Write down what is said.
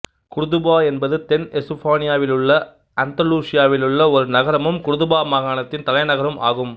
குர்துபா என்பது தென் எசுப்பானியாவிலுள்ள அந்தலூசியாவிலுள்ள ஒரு நகரமும் குர்துபா மாகணத்தின் தலைநகரமும் ஆகும்